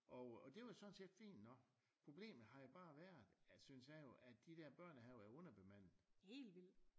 Og det var sådan set fint nok problemet har jo bare været at synes jeg jo at de der børnehaver er underbemanede